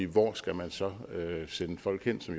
hvor skal man så sende folk hjem til